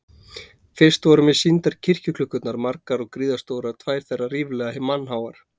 Fyrst voru mér sýndar kirkjuklukkurnar, margar og gríðarstórar, tvær þeirra ríflega mannháar.